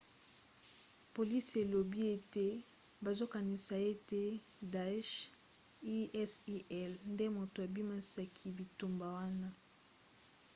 polisi elobi ete bazokanisa ete daesh isil nde moto abimisaki bitumba wana